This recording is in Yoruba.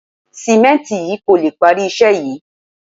Sìmẹ́ǹtì yìí kò lè parí iṣẹ́ yìí